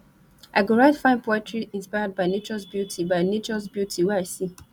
i go write fine poetry inspired by natures beauty by natures beauty wey i see